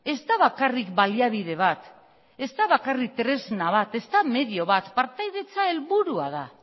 ez da bakarrik baliabide bat ez da bakarrik tresna bat ez da medio bat partaidetza helburua da